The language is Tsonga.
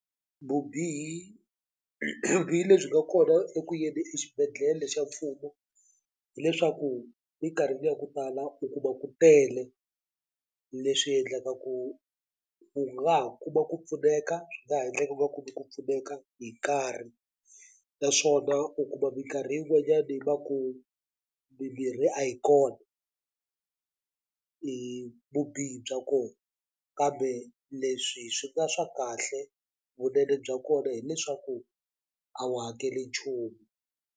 Vubihi vubihi lebyi nga kona eku yeni xibedhlele xa mfumo hileswaku minkarhini ya ku tala u kuma ku tele leswi endlaka ku u nga ha kuma ku pfuneka swi nga ha endleka u nga kumi ku pfuneka hi nkarhi naswona u kuma mikarhi yin'wanyani va ku mimirhi a yi kona hi vubihi bya ko kambe leswi swi nga swa kahle vunene bya kona hileswaku a wu hakeli nchumu.